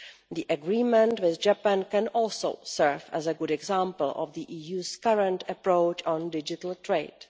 The agreement with Japan can also serve as a good example of the EU's current approach on digital trade.